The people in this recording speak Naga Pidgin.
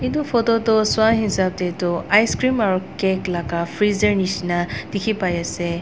etu photo toh swa hisap tey toh ice cream aro cake la ka freezer nishi na dikhi pai ase.